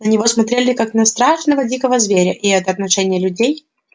на него смотрели как на страшного дикого зверя и это отношение людей